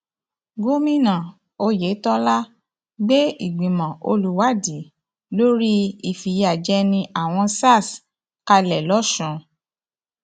gomina oyetola gbé ìgbìmọ olùwádìí lórí olùwádìí lórí ìfìyàjẹni àwọn sars kalẹ lọsùn